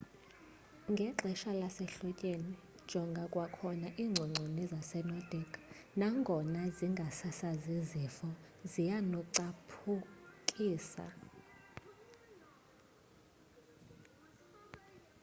ngexesha lasehlotyeni jonga kwakhona iingcongconi zasenordic nangona zingasasazi zifo zianokucaphukisa